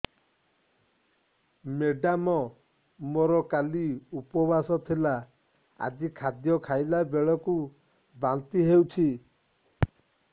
madam ମୋର କାଲି ଉପବାସ ଥିଲା ଆଜି ଖାଦ୍ୟ ଖାଇଲା ବେଳକୁ ବାନ୍ତି ହେଊଛି